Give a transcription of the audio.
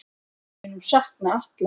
Við munum sakna Atla.